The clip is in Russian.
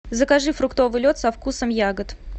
закажи фруктовый лед со вкусом ягод